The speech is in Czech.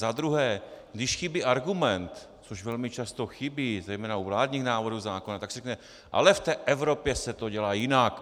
Za druhé, když chybí argument, což velmi často chybí, zejména u vládních návrhů zákonů, tak se řekne: Ale v té Evropě se to dělá jinak.